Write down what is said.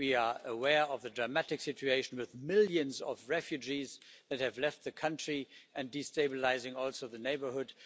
We are aware of the dramatic situation with millions of refugees that have left the country and also destabilising the neighbourhood.